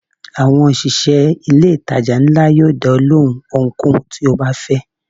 Àwọn òṣìṣẹ́ ilé ìtajà ńlá yóò dá ọ lóhùn ohunkóhun tó o bá fẹ́.